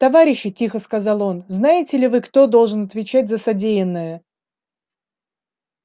товарищи тихо сказал он знаете ли вы кто должен отвечать за содеянное